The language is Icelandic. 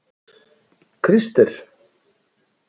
Krister